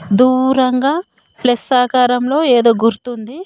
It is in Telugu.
దూరంగా ప్లస్ ఆకారంలో ఏదో గుర్తుంది.